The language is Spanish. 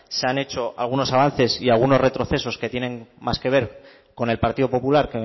se han hecho algunos avances y algunos retrocesos que tienen más que ver con el partido popular